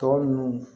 Tɔ ninnu